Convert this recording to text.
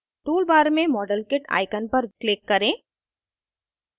tool bar में modelkit icon पर click करें